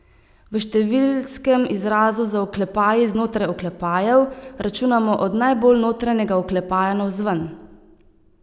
V številskem izrazu z oklepaji znotraj oklepajev, računamo od najbolj notranjega oklepaja navzven.